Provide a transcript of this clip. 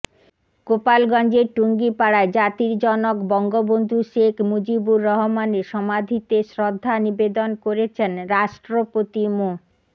গোপালগঞ্জের টুঙ্গিপাড়ায় জাতির জনক বঙ্গবন্ধু শেখ মুজিবুর রহমানের সমাধিতে শ্রদ্ধা নিবেদন করেছেন রাষ্ট্রপতি মো